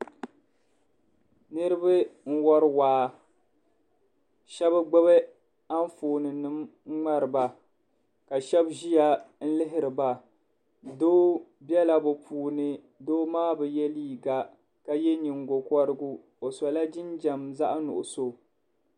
Niriba n-wari waa ka shɛba gbubi anfooninima ŋmari ba ka shɛba ʒiya n-lihiri ba doo bela bɛ puuni doo maa bɛ ye liiga ka ye ningokɔrigu o sola jinjam zaɣ'nuɣuso.